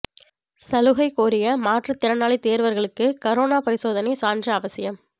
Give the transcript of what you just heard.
சலுகை கோரிய மாற்றுத் திறனாளி தோ்வா்களுக்கு கரோனா பரிசோதனை சான்று அவசியம்